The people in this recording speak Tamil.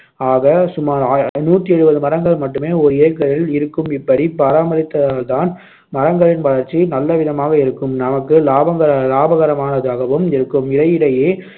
ஆக சுமார் நூத்தி எழுபது மரங்கள் மட்டுமே ஒரு ஏக்கரில் இருக்கும் இப்படிப் பராமரித்தால்தான் மரங்களின் வளர்ச்சி நல்லவிதமாக இருக்கும் நமக்கு லாபக~ லாபகரமானதாகவும் இருக்கும் இடையிடையே